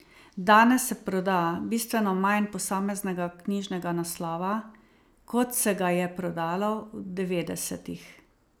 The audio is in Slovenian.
Danes se proda bistveno manj posameznega knjižnega naslova, kot se ga je prodalo v devetdesetih.